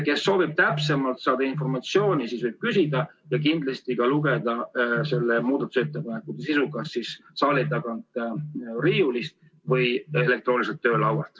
Kes soovib, saab täpsemat informatsiooni küsida ja kindlasti lugeda selle muudatusettepaneku kohta kas saali tagant riiulist võetavast eelnõust või elektrooniliselt oma töölaual.